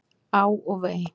Á og vei!